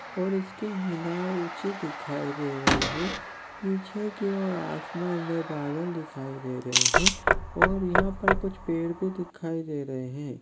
और इसके मीनार ऊंचे दिखाई दे रहे है पीछे की ओर आसमान मे बादल दिखाई दे रहे है और यहाँ पर कुछ पेड़ भी दिखाई दे रहे है।